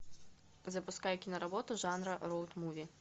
запускай киноработу жанра роуд муви